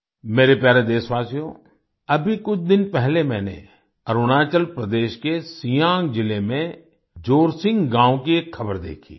मेरे प्यारे देशवासियो अभी कुछ दिन पहले मैंने अरुणाचल प्रदेश के सियांग जिले में जोरसिंग गाँव की एक खबर देखी